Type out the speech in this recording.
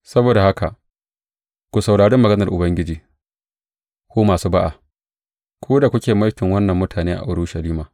Saboda haka ku saurari maganar Ubangiji, ku masu ba’a ku da kuke mulkin wannan mutane a Urushalima.